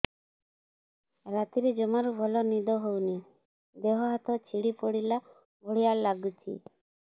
ରାତିରେ ଜମାରୁ ଭଲ ନିଦ ହଉନି ଦେହ ହାତ ଛିଡି ପଡିଲା ଭଳିଆ ଲାଗୁଚି